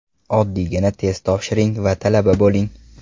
Oddiygina test topshiring va talaba bo‘ling!